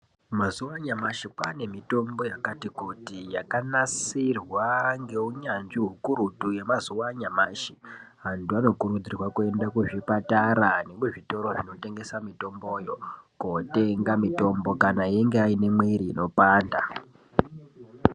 Mazuva anyamashi kwane mitombo yakati kuti yakanasirwa ngeunyanzvi ukurutu Antu anokurudzirwa kuenda kuzvipatara nemuzvitoro zvinotengesa mitombo kotenga mitombo kana iriyo inopanda.